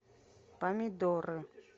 помидоры